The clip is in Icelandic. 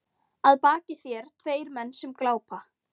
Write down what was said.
Að baki þér tveir menn sem glápa.